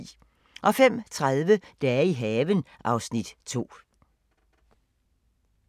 05:30: Dage i haven (Afs. 2)